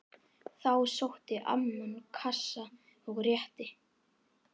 Þá sótti amman kassa og rétti